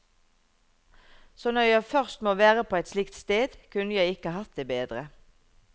Så når jeg først må være på et slikt sted, kunne jeg ikke hatt det bedre.